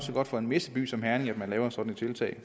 godt for en messeby som herning at man laver sådan et tiltag